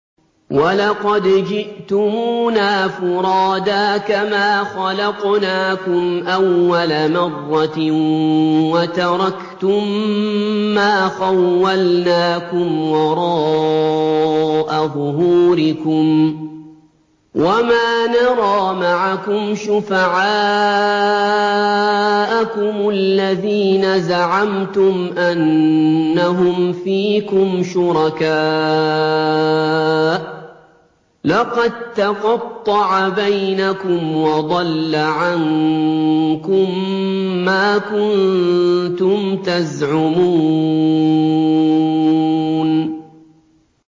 وَلَقَدْ جِئْتُمُونَا فُرَادَىٰ كَمَا خَلَقْنَاكُمْ أَوَّلَ مَرَّةٍ وَتَرَكْتُم مَّا خَوَّلْنَاكُمْ وَرَاءَ ظُهُورِكُمْ ۖ وَمَا نَرَىٰ مَعَكُمْ شُفَعَاءَكُمُ الَّذِينَ زَعَمْتُمْ أَنَّهُمْ فِيكُمْ شُرَكَاءُ ۚ لَقَد تَّقَطَّعَ بَيْنَكُمْ وَضَلَّ عَنكُم مَّا كُنتُمْ تَزْعُمُونَ